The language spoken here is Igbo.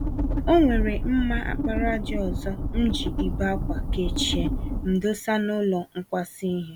Onwere mma àkpàràjà ọzọ mji ibe-ákwà kechie m dosa n'ụlọ nkwasa ìhè